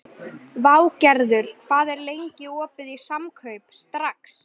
Végerður, hvað er lengi opið í Samkaup Strax?